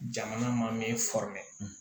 Jamana ma me